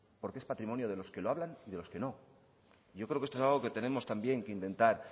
porque es patrimonio de los que lo hablan y de los que no yo creo que esto es algo que tenemos también que intentar